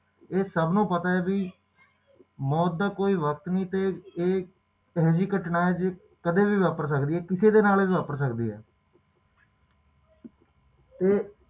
ਇਹ ਸਾਨੂੰ ਪਤਾ ਕਿ ਮੌਤ ਦਾ ਕੋਈ ਵਕ਼ਤ ਨਹੀਂ ਤੇ ਇਹ ਅਜੇਹੀ ਘਟਨਾ ਕਿ ਜਿਹੜੀ ਕਦੇ ਵੀ ਵਾਪਰ ਸਕਦੇ ਆ ਤੇ ਕਿਸੇ ਨਾਲ ਵੀ ਵਾਪਰ ਸਕਦੀ ਆ ਤੇ